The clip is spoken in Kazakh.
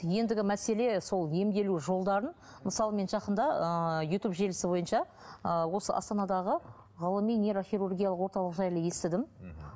ендігі мәселе сол емделу жолдарын мысалы мен жақында ыыы ютуб желісі бойынша ыыы осы астандағы ғылыми нейрохирургиялық орталық жайлы естідім мхм